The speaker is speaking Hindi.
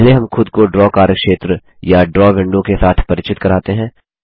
पहले हम खुद को ड्रा कार्यक्षेत्र या ड्रा विंडो के साथ परिचित कराते हैं